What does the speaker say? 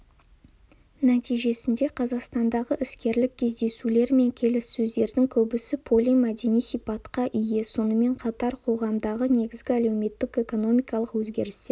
нәтижесінде қазақстандағы іскерлік кездесулер мен келіссөздердің көбісі полимәдени сипатқа ие сонымен қатар қоғамдағы негізгі әлеуметтік-экономикалық өзгерістер